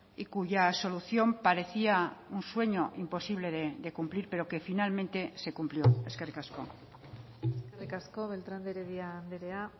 y cuya solución parecía un sueño imposible de cumplir pero que finalmente se cumplió eskerrik asko eskerrik asko beltrán de heredia andrea